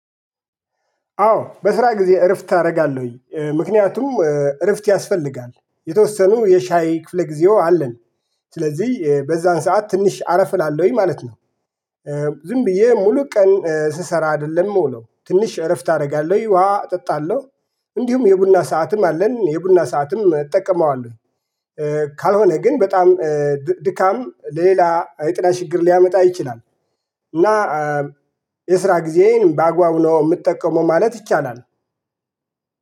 አዎ በስራ ጊዜ እረፍት አረጋለሁኝ እ ምክንያቱም እ እረፍት ያስፈልጋል የተወሰኑ የሻይ ክፍለ ጊዜው አለን ስለዚህ በዛን ሰዓት ትንሽ አረፍ እላለሁኝ ማለት ነው። እ ዝም ብዬ ሙሉ ቀን እ ስሰራ አይደለም ምውለው ትንሽ እረፍት አደርጋለሁ ውሃ እጠጣለሁ። እንዲሁም የቡና ሰዓትም አለን የቡና ሰዓትም እጠቀመዋለሁ። ካልሆነ ግን በጣም ድካም ሌላ የጤና ሽግር ሊያመጣ ይችላል። እና የስራ ጊዜዬን በአግባቡ ነው የምጠቀመው ማለት ይቻላል።